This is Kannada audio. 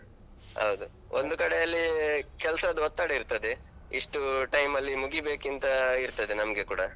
ಹೌದು. ಒಂದು ಕಡೆಯಲ್ಲಿ ಕೆಲ್ಸದ್ ಒತ್ತಡ ಇರ್ತದೆ ಇಷ್ಟು time ಅಲ್ಲಿ ಮುಗಿಬೇಕಿಂತ ಇರ್ತದೆ ನಮ್ಗೆ ಕೂಡ.